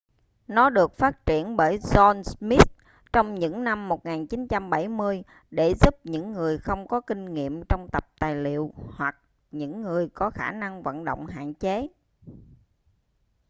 nó được phát triển bởi john smith trong những năm 1970 để giúp những người không có kinh nghiệm trong tập tài liệu hoặc những người có khả năng vận động hạn chế